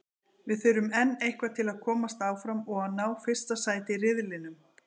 Við þurfum enn eitthvað til að komast áfram og að ná fyrsta sæti í riðlinum.